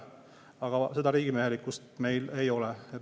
Aga seda riigimehelikkust ei ole.